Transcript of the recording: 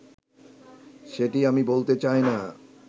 সেটি আমি বলতে চাইনা